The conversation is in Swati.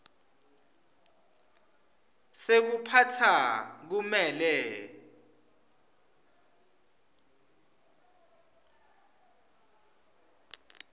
sekuphatsa kumele